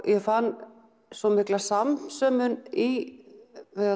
ég fann svo mikla samsömun í